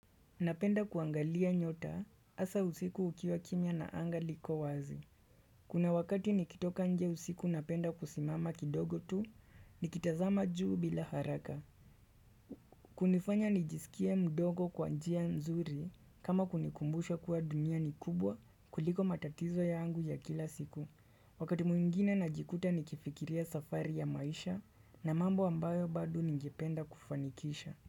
Napenda kuangalia nyota hasa usiku ukiwa kimia na anga liko wazi. Kuna wakati nikitoka nje usiku napenda kusimama kidogo tu nikitazama juu bila haraka. Kunifanya nijisikia mdogo kwa njia nzuri kama kunikumbusha kuwa dunia ni kubwa kuliko matatizo yangu ya kila siku. Wakati mwingine najikuta nikifikiria safari ya maisha na mambo ambayo bado nijipenda kufanikisha.